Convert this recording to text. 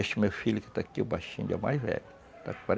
Este meu filho que está aqui, o baixinho, ele é o mais velho.